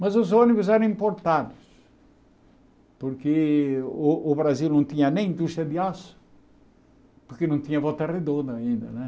Mas os ônibus eram importados, porque o o Brasil não tinha nem indústria de aço, porque não tinha volta redonda ainda, né?